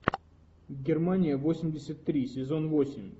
германия восемьдесят три сезон восемь